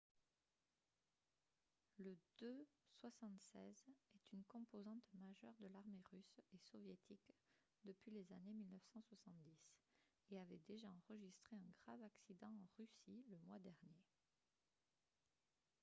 le il-76 est une composante majeure de l'armée russe et soviétique depuis les années 1970 et avait déjà enregistré un grave accident en russie le mois dernier